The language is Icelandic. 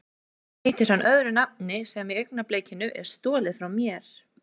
Hér heitir hann öðru nafni sem í augnablikinu er stolið frá mér.